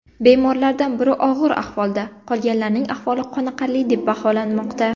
Bemorlardan biri og‘ir ahvolda, qolganlarning ahvoli qoniqarli deb baholanmoqda.